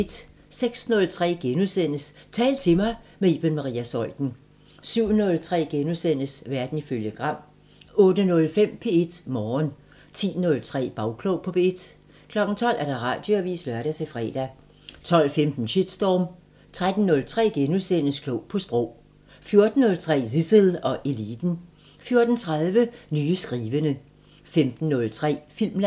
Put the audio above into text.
06:03: Tal til mig – med Iben Maria Zeuthen * 07:03: Verden ifølge Gram * 08:05: P1 Morgen 10:03: Bagklog på P1 12:00: Radioavisen (lør-fre) 12:15: Shitstorm 13:03: Klog på Sprog * 14:03: Zissel og Eliten 14:30: Nye skrivende 15:03: Filmland